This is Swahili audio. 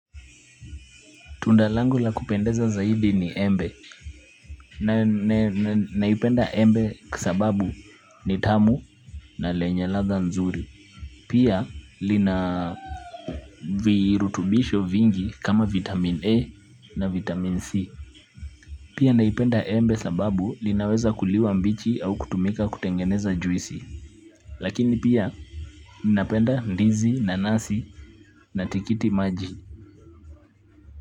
Tunda langu la kupendeza zaidi ni embe, naipenda embe kwa sababu ni tamu na lenye ladha nzuri. Pia lina virutubisho vingi kama vitamin A na vitamin C. Pia naipenda embe sababu linaweza kuliwa mbichi au kutumika kutengeneza juisi. Lakini pia ninapenda ndizi, nanasi na tikiti maji.